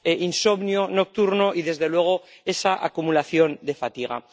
insomnio nocturno y, desde luego, esa acumulación de fatiga.